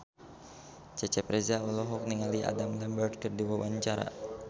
Cecep Reza olohok ningali Adam Lambert keur diwawancara